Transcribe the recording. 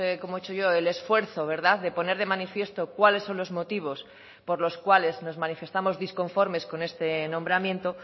como hecho yo el esfuerzo de poner de manifiesto cuáles son los motivos por los cuales nos manifestamos disconformes con este nombramiento